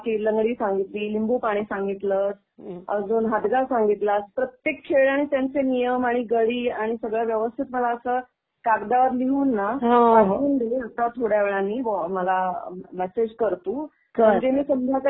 जे सांगितले आणि तू अजून बाकी लंगडी सांगितली, लिंबू पाणी सांगितलंस अजून हादगा संगितलास. प्रत्येक खेळ आणि त्यांचे नियम आणि गाडी आणि सगळं व्यवस्थित मला असं कागदावर लिहून ना पाठवून दे ना. आता थोड्या वेळानी मला मॅसेज कर तू.